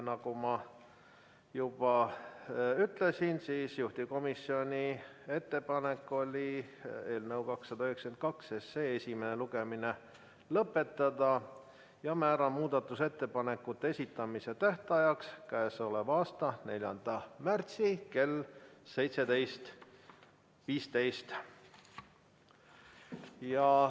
Nagu ma juba ütlesin, juhtivkomisjoni ettepanek oli eelnõu 292 esimene lugemine lõpetada ja määrata muudatusettepanekute esitamise tähtajaks k.a 4. märts kell 17.15.